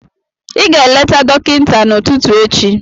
Ị ga-eleta dọkịta n'ụtụtụ echi